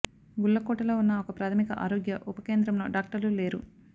గుల్లకోటలో ఉన్న ఒక ప్రాథమిక ఆరోగ్య ఉప కేంద్రంలో డాక్టర్లు లేరు